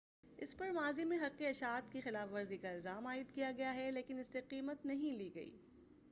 اس پر ماضی میں حق اشاعت کی خلاف ورزی کا الزام عائد کیا گیا ہے لیکن اس سے قیمت نہیں لی گئی